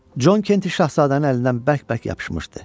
Con Kenti şahzadənin əlindən bərk-bərk yapışmışdı.